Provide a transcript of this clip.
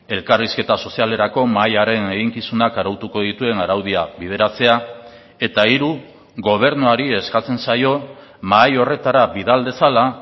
elkarrizketa sozialerako mahaiaren eginkizunak arautuko dituen araudia bideratzea eta hiru gobernuari eskatzen zaio mahai horretara bidal dezala